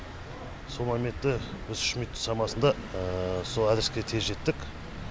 сол моментте біз үш минут шамасында сол адреске тез жеттік